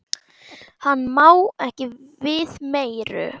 Hann má ekki við meiru.